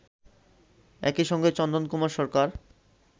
একইসঙ্গে চন্দন কুমার সরকার